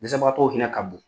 Dɛsɛbagatɔw hinɛ ka bon.